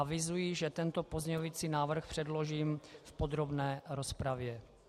Avizuji, že tento pozměňovací návrh předložím v podrobné rozpravě.